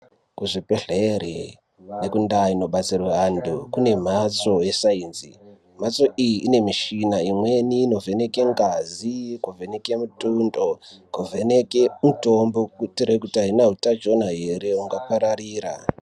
Kuzvibhehleri nendau dzinodetserwa antu kune mhatso yesainzi. Mhatso iyi ine mishina imweni inovheneka ngazi, imweni kuvheneke mutundo, kuvheneke mitombo kuti haina hutachiwana here ungapararira.